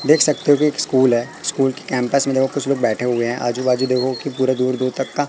देख सकते हो कि एक स्कूल है स्कूल की कैंपस में कुछ लोग बैठे हुए हैं आजू बाजू देखो कि पूरा दूर दूर तक का--